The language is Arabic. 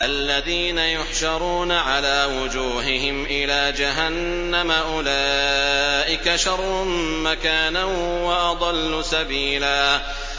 الَّذِينَ يُحْشَرُونَ عَلَىٰ وُجُوهِهِمْ إِلَىٰ جَهَنَّمَ أُولَٰئِكَ شَرٌّ مَّكَانًا وَأَضَلُّ سَبِيلًا